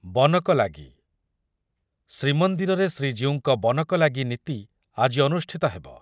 ବନକଲାଗି, ଶ୍ରୀମନ୍ଦିରରେ ଶ୍ରୀଜୀଉଙ୍କ ବନକଲାଗି ନୀତି ଆଜି ଅନୁଷ୍ଠିତ ହେବ ।